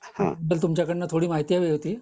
तुमच्याकडून थोडी माहिती हवी होती